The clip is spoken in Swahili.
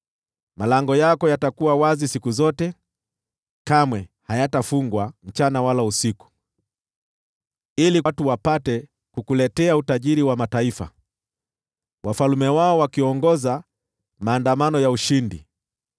Malango yako yatakuwa wazi siku zote, kamwe hayatafungwa, mchana wala usiku, ili watu wapate kukuletea utajiri wa mataifa: wafalme wao wakiongoza maandamano ya ushindi.